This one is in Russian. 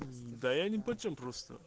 да я нипочём просто